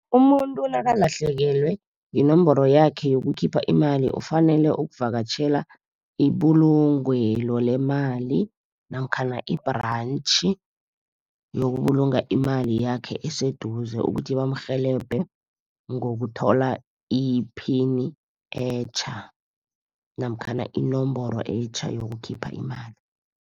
Umuntu nakalahlekelwe yinomboro yakhe yokukhipha imali ufanele ukuvakatjhela ibulungelo lemali namkhana i-branch, yokubulunga imali yakhe eseduze ukuthi bamrhelebhe ngokuthola iphini etjha namkhana inomboro etjha yokukhipha imali.